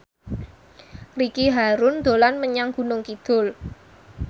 Ricky Harun dolan menyang Gunung Kidul